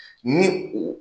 Ni u